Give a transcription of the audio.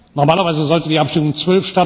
Normalerweise sollte die Abstimmung um